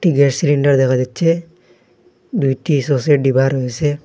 Gas cylinder দেখা যাচ্ছে দুইটি সসের ডিবা রয়েসে।